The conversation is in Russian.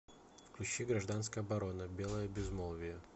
включи гражданская оборона белое безмолвие